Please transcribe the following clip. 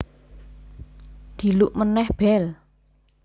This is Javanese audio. Dhiluk meneh bel